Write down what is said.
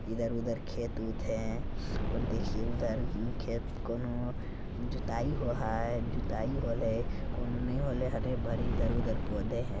इधर-उधर खेत-ऊत है और देखिए उधर खेत कोनहु जुताई हुआ ह जुताई होले है कोनहु नहीं होले हरी-भरी इधर-उधर पौधे हैं।